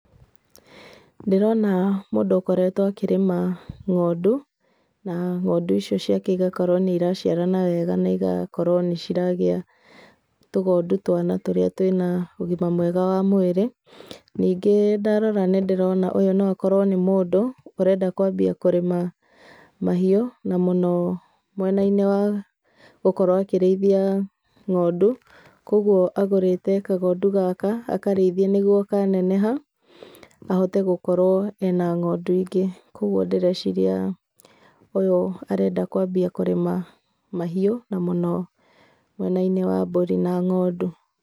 Ndĩrona mũndũ ũkoretwo akĩrĩma ng'ondu, na ng'ondu icio ciake igakorwo nĩ iraciarana wega na igakorwo nĩ iragĩa tũgondu twana tũrĩa twĩna ũgima mwega wa mwĩrĩ. Ningĩ ndarora nĩ ndĩrona ũyũ no akorwo nĩ mũndũ ũrenda kwambia kũrĩma mahiũ, na mũno mwena-inĩ wa gũkorwo akĩrĩithia ng'ondu, koguo agũrĩte kagondu gaka, akarĩithie nĩguo kaneneha, ahote gũkorwo ena ng'ondu ingĩ, koguo ndĩreciria ũyũ arenda kwambia kũrĩma mahiũ, na mũno mwena-inĩ wa mbũri na ng'ondu.